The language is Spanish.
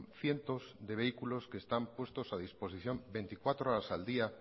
cientos de vehículos que están puestos a disposición veinticuatro horas al día